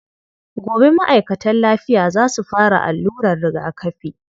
Gobe ma'aikatan lafiya za su fara allurar rigakafi.